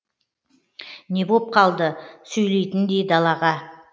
не боп қалды сөйлейтіндей далаға